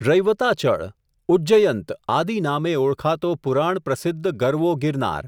રૈવતાચળ, ઉજ્જયંત આદિ નામે ઓળખાતો પુરાણ પ્રસિદ્ધ ગરવો ગિરનાર.